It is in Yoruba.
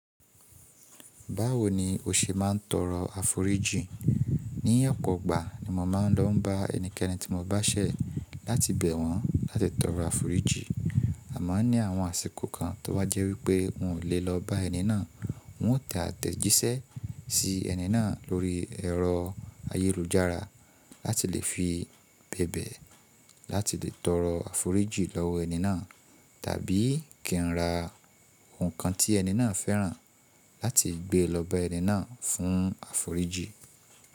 Báwo ni o ṣe máa ń tọrọ àforíjì? Ní ọ̀pọ̀ igbà ni mo máa ń lọ bá ẹnikẹ́ni tí mo bá ṣẹ̀ láti bẹ̀ wọ́n láti tọrọ àforíjìn. O máa n ní àwọn àsìkò kan tó bá jẹ́ wípé n ò le lọ bá ẹni náà, n ó tẹ àtẹ̀jíṣẹ́ sí ẹni náà lórí ẹ̀rọ ayélujára láti lè fi bébẹ̀ láti lè tọrọ àforíjìn lọ́wọ ẹni náà, tàbí kí n ra nǹkan tí ẹni náà fẹ́ràn láti gbé lọ bá ẹni náà fún àforíjìn.